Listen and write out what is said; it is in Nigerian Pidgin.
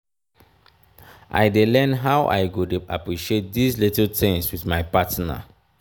i dey learn how i go dey appreciate dese little tins wit my partner.